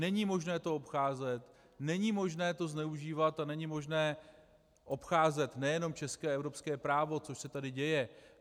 Není možné to obcházet, není možné to zneužívat a není možné obcházet nejenom české a evropské právo, což se tady děje.